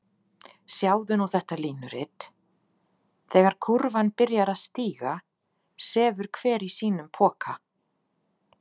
Sjáðu nú þetta línurit: þegar kúrfan byrjar að stíga sefur hver í sínum poka.